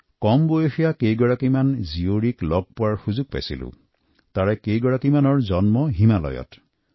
কিছুদিন আগতে মোৰ খুব কম বয়সৰ একাংশ কন্যাক লগ পোৱা সুযোগ হৈছিল আৰু তেওঁলোকৰ একাংশৰ জন্ম হৈছে হিমালয়ত